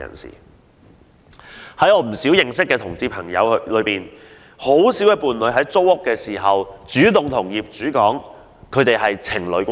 在我認識的同志朋友中，很少人會在租屋時主動向業主表示是情侶關係。